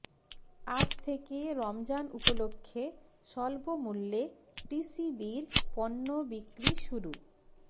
আজ থেকে রমজান উপলক্ষে স্বল্পমূল্যে টিসিবির পণ্য বিক্রি শুরু